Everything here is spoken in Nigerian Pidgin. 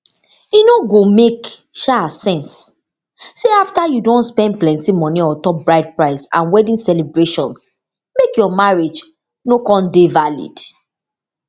e no go make um sense say afta you don spend plenti moni ontop bride price and wedding celebrations make your marriage no kon dey valid